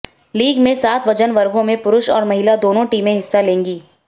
league में सात वजन वर्गों में पुरुष और महिला दोनों टीमें हिस्सा लेंगी